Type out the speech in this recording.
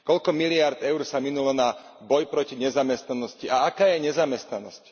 Koľko miliárd eur sa minulo na boj proti nezamestnanosti a aká je nezamestnanosť?